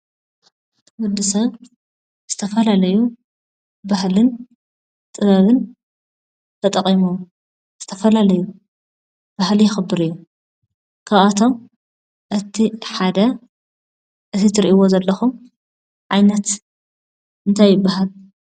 ወዲሰብ ዝተፈላለዩ ባህልን ጥበብን ተጠቂሞም ዝተፈላለዩ ባህሊ የክብር እዩ። ካብኣቶም እቲ ሓደ እዚ ትርእዎ ዘለኹም ዓይነት እንታይ ይባሃል?